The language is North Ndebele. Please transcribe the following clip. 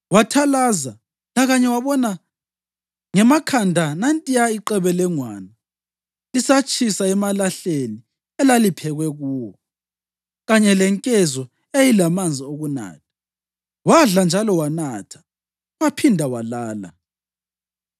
Wathalaza, lakanye wabona ngemakhanda nantiyana iqebelengwane lisatshisa emalahleni elaliphekwe kuwo, kanye lenkezo eyayilamanzi okunatha. Wadla njalo wanatha, waphinda walala.